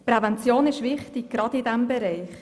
Prävention ist wichtig, gerade in diesem Bereich.